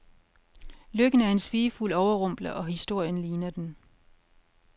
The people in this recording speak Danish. Lykken er en svigefuld overrumpler, og historien ligner den.